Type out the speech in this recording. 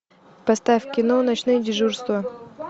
поставь кино ночные дежурства